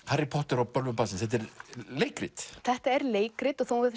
Harry Potter og bölvun barnsins þetta er leikrit þetta er leikrit og þó hún